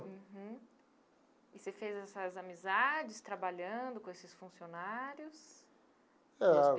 Uhum, e você fez essas amizades trabalhando com esses funcionários? Eh.